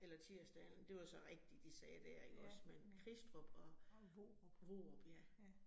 Eller Tirsdalen, det var så rigtigt, de sagde dér ikke også. Men Kristrup og Vorup ja